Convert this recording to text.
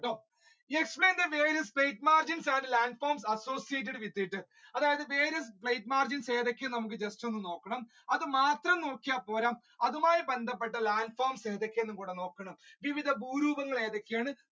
explain various trade margins and landform associated with it അതായത് various trade margins ഏതൊക്കെയാണെന്ന് നമ്മുക്ക് just ഒന്ന് നോക്കാം അത് മാത്രം നോക്കിയ പോരാ അതുമായി ബന്ധപ്പെട്ട landforms ഏതൊക്കെയെന്ന് കൂടി നോക്കണം വിവിധ ഭൂരൂപങ്ങൾ ഏതൊക്കെയാണ്